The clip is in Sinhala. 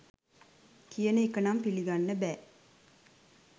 කියන එක නම් පිළිගන්න බෑ